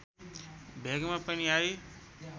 भेगमा पनि आई